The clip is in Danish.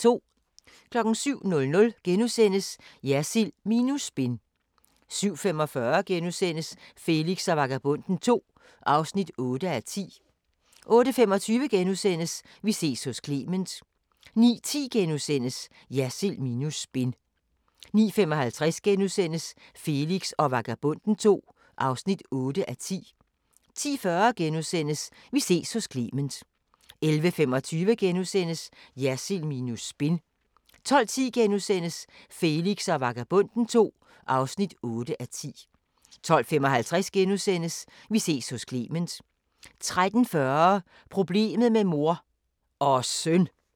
07:00: Jersild minus spin * 07:45: Felix og Vagabonden II (8:10)* 08:25: Vi ses hos Clement * 09:10: Jersild minus spin * 09:55: Felix og Vagabonden II (8:10)* 10:40: Vi ses hos Clement * 11:25: Jersild minus spin * 12:10: Felix og Vagabonden II (8:10)* 12:55: Vi ses hos Clement * 13:40: Problemet med mor – og søn!